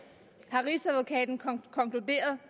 har rigsadvokaten konkluderet